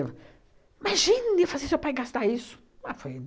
Imagine eu fazer seu pai gastar isso? Mas foi